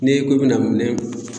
N'e ko e bena minɛn